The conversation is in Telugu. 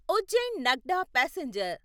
ఉజ్జైన్ నగ్డా పాసెంజర్